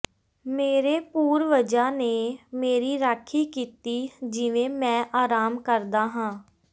ਮੇਰੇ ਪੂਰਵਜਾਂ ਨੇ ਮੇਰੀ ਰਾਖੀ ਕੀਤੀ ਜਿਵੇਂ ਮੈਂ ਆਰਾਮ ਕਰਦਾ ਹਾਂ